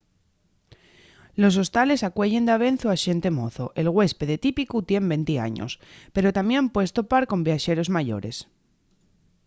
los hostales acueyen davezu a xente mozo el güéspede típicu tien venti años pero tamién puedes topar con viaxeros mayores